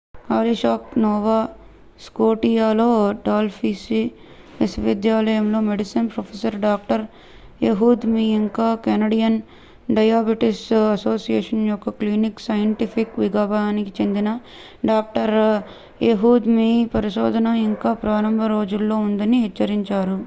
Halifax Nova స్కోటియాలోని Dalhousie విశ్వవిద్యాలయంలో medicine professor doctor Ehud మీ ఇంకా కెనడియన్ డయాబెటిస్ అసోసియేషన్ యొక్క క్లినికల్ సైంటిఫిక్ విభాగానికి చెందిన డాక్టర్ ఎహుద్ మీ పరిశోధన ఇంకా ప్రారంభ రోజుల్లో ఉందని హెచ్చరించారు